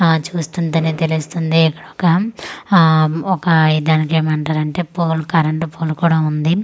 ఆ చూస్తుంటేనే తెలుస్తుంది ఇక్కడ ఒక ఆ ఒక ఇది దానికీ ఏమంటారు అంటే పోల్ కరెంట్ పోల్ కూడా ఉంది.